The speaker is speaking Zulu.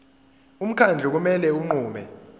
umkhandlu kumele unqume